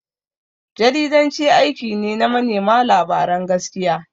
Jaridanci aiki ne na manema labaran gaskiya.